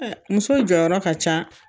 muso jɔyɔrɔ ka ca